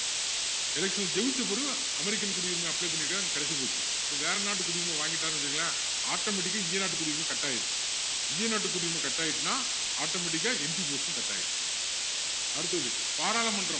election ல ஜெயிச்ச பிறகு அமெரிக்கன் குடியுரிமை apply பண்ணிருக்கான் கிடைச்சு போச்சு அப்போ வேற நாட்டு குடியுரிமை வாங்கிட்டாருன்னு வச்சிக்கோங்களேன் automatic ஆ இந்திய நாட்டு குடியுரிமை cut ஆகிரும் இந்திய நாட்டு குடியுரிமை cut ஆகிடுச்சுன்னா automatic ஆ MP post உம் cut ஆகிரும் அடுத்தது பாராளுமன்றம்